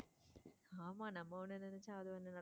ஆமா நம்ம உன்ன நெனச்சா அது ஒண்ணு நடக்கும்.